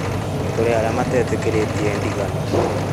nĩ kũrĩ arĩa matetĩkĩrĩtie ndigano